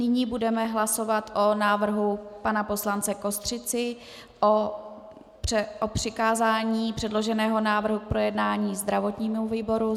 Nyní budeme hlasovat o návrhu pana poslance Kostřici o přikázání předloženého návrhu k projednání zdravotnímu výboru.